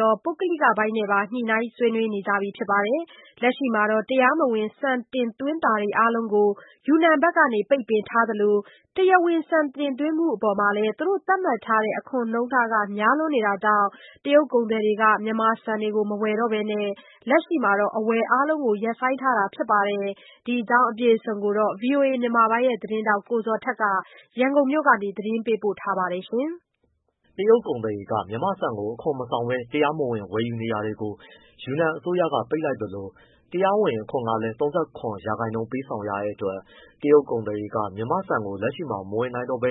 ရော၊ ပုဂ္ဂလိကပိုင်းနဲ့ပါ ညှိနှိုင်း ဆွေးနွေးနေကြပါတယ်။ လက်ရှိမှာ တရားမဝင်ဆန်တင်သွင်းတာတွေအားလုံးကို ယူနန်ဘက်က ပိတ်ထားသလို တရားဝင် ဆန်တင်သွင်းမှုအပေါ် သူတို့သတ်မှတ်ထားတဲ့ အခွန်နှုန်းထားကလည်းများနေလို့ တရုတ်ကုန်သည်တွေက မြန်မာ့ဆန်ကို မဝယ် တော့ဘဲ လက်ရှိမှာ အဝယ်အားလုံးကို ရပ်ဆိုင်းထားတာဖြစ်ပါတယ်။ ဒီအကြောင်း ဗွီအိုအေ မြန်မာပိုင်း သတင်းထောက် ကိုဇော်ထက် ရန်ကုန်ကနေ သတင်းပေးပို့ထားပါတယ်။ တရုတ်ကုန်သည်တွေ မြန်မာ့ဆန်ကို အခွန်မဆောင်ဘဲတရားမဝင် ဝယ်ယူနေတာကို ယူနန်အစိုးရက ပိတ်လိုက်သလို တရားဝင်အခွန်ကလည်း ၃၇% ပေးဆောင်ရတဲ့အတွက် တရုတ်ကုန်သည်တွေက မြန်မာ့ဆန်ကိုလက်ရှိမှာ မဝယ်နိုင်တော့ဘဲ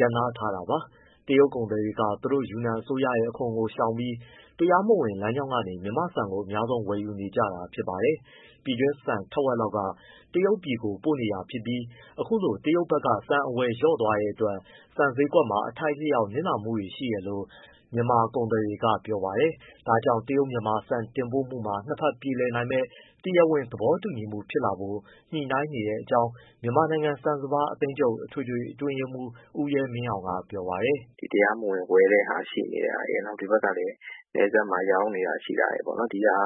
ရပ်နားထားတာပါ။ တရုတ်ကုန်သည်တွေက သူတို့ယူနန်အစိုးရရဲ့ အခွန်ကိုရှောင်ပြီး တရားမဝင်လမ်းကြောင်းကနေ မြန်မာ့ဆန်ကို အများဆုံးဝယ်ယူနေတာဖြစ်ပါတယ်။ ပြည်တွင်းဆန်ထက်ဝက်လောက်က တရုတ်ပြည်ကိုပို့နေတာဖြစ်ပြီး အခုလို တရုတ်ဘက်က ဆန်အဝယ် လျှော့သွားတဲ့အတွက် ဆန်ဈေးကွက်မှာ အထိုက်အလျှောက်နစ်နာမှုတွေရှိတယ်လို့ မြန်မာကုန်သည်တွေက ပြောပါတယ်။ ဒါကြောင့် တရုတ်-မြန်မာ ဆန်တင်ပို့မှုမှာ နှစ်ဘက်ပြေလည်မယ့် တရားဝင်သဘောတူညီမှုတွေဖြစ်လာဖို့ ညှိနှိုင်းနေတဲ့အကြောင်း မြန်မာနိုင်ငံ ဆန်စပါး အသင်းချုပ် အထွေထွေအတွင်းရေးမှူး ဦးရဲမင်းအောင်က ပြောပါတယ်။ “ဒီတရားမဝင် ဝယ်နေတဲ့ဟာ ရှိနေတာရယ် ဒီဘက်မှာလည်း နယ်စပ်မှာရောင်းနေတာလည်းရှိတာရယ်ပေါ့။ ဒီဟာ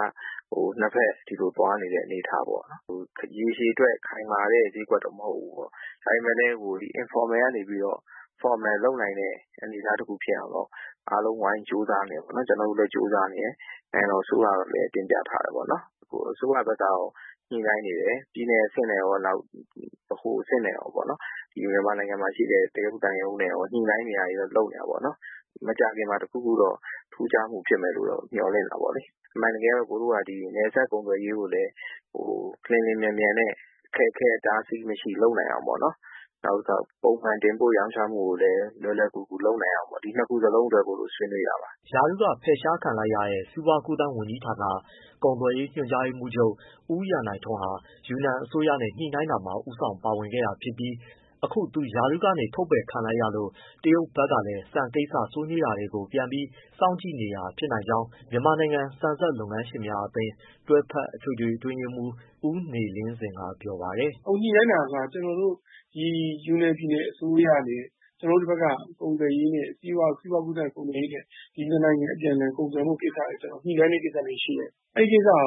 က နှစ်ဘက်ဒီလိုသွားနေတဲ့ အနေအထားပေါ့။ ရေရှည်အတွက် ခိုင်မာတဲ့ဈေးကွက်တော့ မဟုတ်ဘူးပေါ့။ ဒါပေမဲ့လည်း ဒီ informal ကနေပြီးတော့ formal လုပ်နိုင်တဲ့ အနေအထားတစ်ခုဖြစ်အောင်တော့ အားလုံးဝိုင်းကြိုးစားနေတယ်ပေါ့။ ကျွန်တော်တို့လည်းကြိုးစားနေတယ်။ နိုင်ငံတော် အစိုးရကိုလည်း တင်ပြထားတယ်ပေါ့။ အစိုးရဘက်ကရော ညှိနှိုင်းနေတယ်။ ပြည်နယ်အဆင့်နဲ့ရော ဗဟိုအဆင့်နဲ့ရောပေါ့။ မြန်မာနိုင်ငံမှာရှိတဲ့ တရုတ်သံရုံးနဲ့ရော ညှိနှိုင်းနေ တာတွေတော့လုပ်နေတယ်ပေါ့။ မကြာခင်မှာ တခုခုတော့ ထူးခြားမှုဖြစ်မယ်လို့မျှော်လင့်တာပေါ့လေ။ အမှန်တကယ်က ကိုယ်တို့က နယ်စပ်ကုန်သွယ်ရေး ကိုလည်း လျှင်လျှင်မြန်မြန်နဲ့ အခက်အခဲ အတားအဆီးမရှိလုပ်နိုင်အောင်ပေါ့နော်။ နောက်တခါ ပုံမှန်တင်ပို့ရောင်းချမှုကိုလည်းလွယ်လွယ်ကူကူ လုပ်နိုင်အောင် ဒီနှစ်ခုလုံးအတွက်ကို ဆွေးနွေးတာပါ။” ရာထူးကဖယ်ရှားခံလိုက်ရတဲ့ စီးပွားကူးသန်းဝန်ကြီးဌာန ကုန်သွယ်ရေးညွှန်ကြားရေးမှူးချုပ် ဦးရန်နိုင်ထွန်းဟာ ယူနန်အစိုးရနဲ့ ညှိနှိုင်းတာမှာ ဦးဆောင်ပါဝင်ခဲ့တာဖြစ်ပြီး အခု သူ ရာထူးကနေ ထုတ်ပယ်ခံလိုက်ရလို့ တရုတ်ဘက်ကလည်း ဆန်ကိစ္စ ဆွေးနွေး တာတွေကို ပြန်ပြီးစောင့်ကြည့်နေတာဖြစ်နိုင်ကြောင်း မြန်မာနိုင်ငံ ဆန်စက်လုပ်ငန်းရှင်များအသင်း တွဲဖက်အထွေထွေ အတွင်းရေးမှူး ဦးနေလင်းဇင်က ပြောပါတယ်။ “ကျွန်တော်တို့အခုညှိနှိုင်းတာက ယူနန်ပြည်နယ်အစိုးရနဲ့ ကျွန်တော်တို့ဒီဘက်က စီးပွားကူးသန်း၊ ကုန်သွယ်ရေးနဲ့ နှစ်နိုင်ငံအပြန်အလှန် ကုန်သွယ်ရေး ညှိနှိုင်းမှုတွေရှိတယ်။ အဲဒီကိစ္စဟာ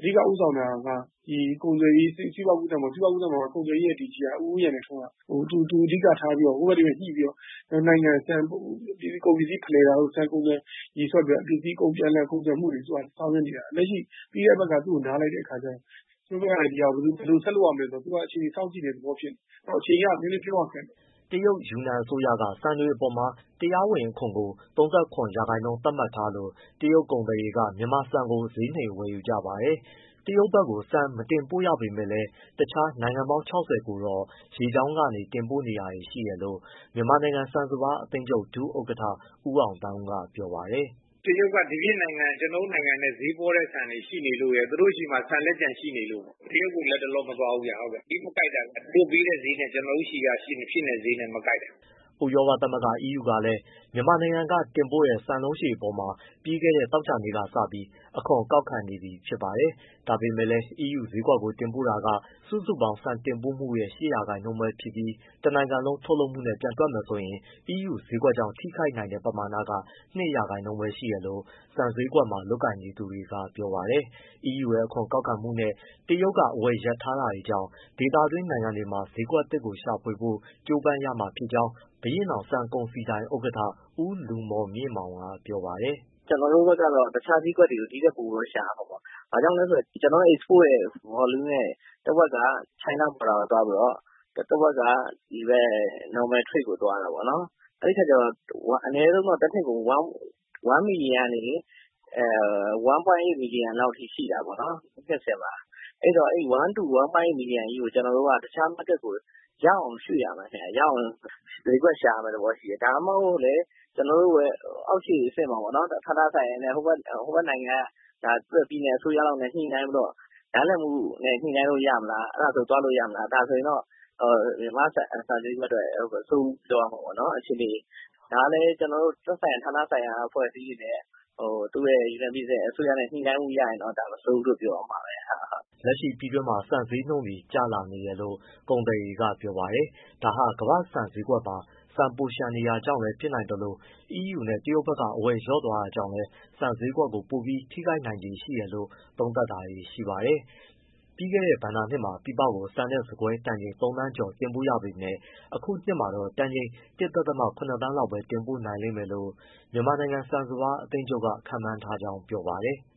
အဓိကဦးဆောင်တာက စီးပွားကူးသန်းရဲ့ ကုန်သွယ်ရေးပေါ့၊ ဦးရန်နိုင်ထွန်းက သူအဓိကထားပြီးတော့ ညှိပြီးတော့ ကုန်ပစ္စည်းဖလှယ်တာတို့၊ ဆန်ကုန်သွယ်ရေးဆွဲပြီးတော့ ပြန်လည်ကုန်သွယ်မှုတွေ သူက ဆောင်ရွက်နေတာ၊ ပြီးတဲ့အပတ်က သူ့ကိုနားလိုက်တဲ့အခါ ကျတော့ သူတို့ဘက်ကလည်း ဒီဟာကို ဘယ်လိုဆက်လုပ်ရမယ်ဆိုတာ အခြေအနေ စောင့်ကြည့်တဲ့ သဘောမျိုးဖြစ်နေတယ်။ အခြေအနေက နည်းနည်း ပြောရခက်တယ်။” တရုတ်ယူနန်အစိုးရက ဆန်တွေအပေါ်မှာ တရားဝင်အခွန်ကို ၃၇% သတ်မှတ်ထားလို့ တရုတ်ကုန်သည်တွေက မြန်မာဆန်ကိုဈေးနှိမ်ဝယ်ယူကြပါတယ်။ တရုတ်ဘက် ဆန်မတင်ပို့ရပေမဲ့လည်း တခြားနိုင်ငံပေါင်း ၆၀ ကိုတော့ ရေကြောင်းကနေ တင်ပို့နေတာတွေရှိတယ်လို့ မြန်မာနိုင်ငံ ဆန်စပါးအသင်းချုပ် ဒုဥက္ကဋ္ဌ ဦးအောင်သန်းဦးက ပြောပါတယ်။ “တရုတ်က ဒီပြင်နိုင်ငံ ကျွန်တော်တို့ထက်ဈေးပေါတဲ့နိုင်ငံတွေ ရှိနေလို့ရယ် သူတို့ဆီမှာ ဆန်လက်ကျန်ရှိနေလို့ပေါ့။ တရုတ်ကိုလက်တလောမသွားဘူး။ ဈေးမကိုက်တာဗျ သူတို့ပေးတဲ့ဈေးနဲ့ ကျွန်တော်တို့ဆီက ဖြစ်နေတဲ့ဈေးနဲ့ မကိုက်တာ။” ဥရောပသမဂ္ဂ EU ကလည်း မြန်မာနိုင်ငံကတင်ပို့တဲ့ ဆန်လုံးရှည်အပေါ် ပြီးခဲ့တဲ့သောကြာနေ့ကစပြီး အခွန်ကောက်ခံနေပြီ ဖြစ်ပါတယ်။ ဒါပေမယ့်လည်း အီးယူဈေးကွက်ကိုတင်ပို့တာက စုစုပေါင်း ဆန်တင်ပို့မှုရဲ့ ၈% ပဲရှိပြီး တနိုင်ငံလုံးထုတ်လုပ်မှုနဲ့ ပြန်တွက်မယ်ဆိုရင် အီးယူဈေးကွက်ကြောင့် ထိခိုက်နိုင်တဲ့ပမာဏက ၂% ပဲရှိတယ်လို့ ဆန်ဈေးကွက်မှာ လုပ်ကိုင်နေသူတွေက ဆိုပါတယ်။ အီးယူရဲ့ အခွန်ကောက်ခံမှုနဲ့ တရုတ်ကအဝယ်ရပ်ထားတာတွေကြောင့် ဒေသတွင်းနိုင်ငံတွေမှာ ဈေးကွက်သစ် ရှာဖွေဖို့ ကြိုးပမ်းရမှာဖြစ်ကြောင်း ဘုရင့်နောင် ဆန်ကုန်စည်ဒိုင် ဥက္ကဋ္ဌ ဦးလူမော်မြင့်မောင် ကပြောပါတယ်။ “ကျွန်တော်တို့ဘက်ကတော့ တခြားဈေးကွက်တွေကို ဒီထက်ပိုပြီးရှာရမှာပေါ့။ ဘာကြောင့်လဲဆိုတော့ ကျွန်တော်တို့ အိတ်စပို့ရဲ့ volume ရဲ့ တဝက်က China Border ကိုသွားပြီးတော့ တဝက်က ဒီဘက် normal trade ကိုသွားတာပေါ့။ အဲဒီတော့ အနည်းဆုံးတော့ တနှစ်ကို အနည်းဆုံးတော့ 1 million ကနေ 1.8 million လောက်ထိရှိတာပေါ့နော်။ အဲဒီတော့ ကျွန်တော်တို့က အဲဒီ 1.8 million ကြီးကို တခြား ဈေးကွက်ကို ရအောင် ရွှေ့ရမှာဗျ ရအောင်ဈေးကွက်ရှာရမယ့် သဘောရှိတယ်။ ဒါမှမဟုတ်လည်း ကျွန်တော်တို့ရဲ့ အောက်ခြေအဆင့်မှာ ဟိုဘက်က ပြည်နယ်အစိုးရနဲ့ နားလည်မှုနဲ့ ညှိနှိုင်းလို့ရမလား အဲဒါဆိုသွားလို့ရမလား။ ဒါဆိုရင် မြန်မာ့ဆန်ဈေးကွက်အတွက် မဆိုးဘူးပြောလို့ရမှာပေါ့နော်အခြေအနေ။ ဒါကလည်း ကျွန်တော်တို့ သက်ဆိုင်ရာ ဌာနဆိုင်ရာ အဖွဲ့အစည်းတွေနဲ့ သူတို့ ုယူနန်ပြည်နယ်အစိုးရနဲ့ ညှိနှိုင်းမှုရရင်တော့ ဒါမဆိုးဘူးပြောရမှာပဲ။” လက်ရှိ ပြည်တွင်းမှာ ဆန်ဈေးနှုန်းတွေ ကျလာနေတယ်လို ကုန်သည်တွေကပြောပါတယ်။ ဒါဟာ ကမ္ဘာ့ဆန်ဈေးကွက်မှာ ဆန်ပိုလျှံနေတာကြောင့်လည်း ဖြစ်နိုင်သလို အီးယူနဲ့ တရုတ်ဘက်က အဝယ်လျှော့သွားတာကြောင့်လည်း ဆန်ဈေးကွက်ကို ပိုပြီးထိခိုက်နိုင်ခြေရှိတယ်လို့ သုံးသပ်တာတွေရှိပါတယ်။ ပြီးခဲ့တဲ့ဘဏ္ဍာနှစ်မှာ ပြည်ပကို ဆန်နဲ့ ဆန်ကွဲတန်ချိန် ၃ သန်းကျော်တင်ပို့ခဲ့ပေမဲ့ အခုနှစ်မှာတော့ တန်ချိန် ၁.၇ သန်းလောက်ပဲ တင်ပို့နိုင်မယ်လို့ မြန်မာနိုင်ငံ ဆန်စပါးအသင်းချုပ်က ခန့်မှန်းထားကြောင်းပြောပါတယ်။